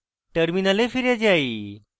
terminal ফিরে যাই